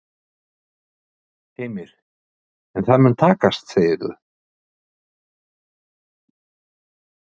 Heimir: En það mun takast segir þú?